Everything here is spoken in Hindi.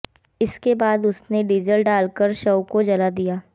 इसके बाद उसने डीजल डाल कर शव को जला दिया